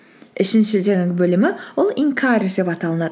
үшінші жаңағы бөлімі ол инкаредж деп аталынады